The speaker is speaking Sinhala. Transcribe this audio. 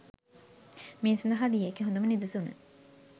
මේ සඳහා දිය හැකි හොඳම නිදසුන